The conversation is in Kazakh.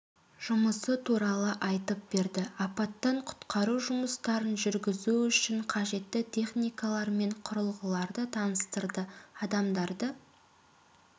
жұмысы туралы айтып берді апаттан құтқару жұмыстарын жүргізу үшін қажетті техникалар мен құрылғыларды таныстырды адамдарды